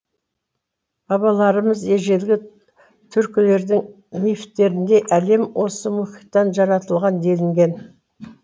бабаларымыз ежелгі түркілердің мифтерінде әлем осы мұхиттан жаратылған делінген